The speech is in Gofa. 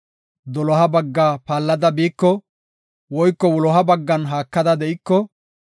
Doloha bagga paallada biiko, woyko wuloha baggan haakada de7iko,